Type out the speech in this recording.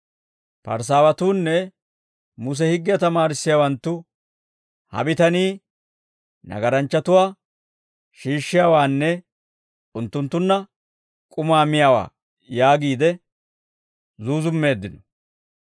Parisaawatuunne Muse higgiyaa tamaarissiyaawanttu, «Ha bitanii, nagaranchchatuwaa shiishshiyaawaanne unttunttunna k'umaa miyaawaa» yaagiide zuuzummeeddino.